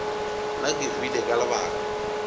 nna ke hwile ka lebaka